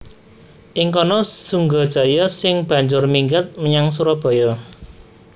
Ing kana Sunggajaya sing banjur minggat menyang Surabaya